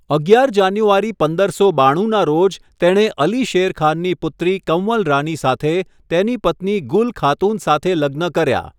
અગિયાર જાન્યુઆરી પંદરસો બાણુંના રોજ, તેણે અલી શેર ખાનની પુત્રી કંવલ રાની સાથે તેની પત્ની ગુલ ખાતુન સાથે લગ્ન કર્યા.